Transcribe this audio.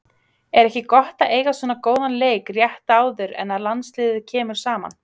Er ekki gott að eiga svona góðan leik rétt áður en að landsliðið kemur saman?